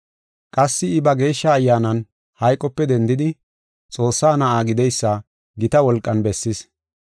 Qassi I ba geeshsha Ayyaanan hayqope dendidi, Xoossaa Na7aa gideysa gita wolqan bessis.